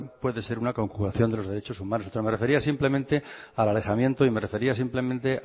puede ser una conculcación de los derechos humanos me refería simplemente al alejamiento y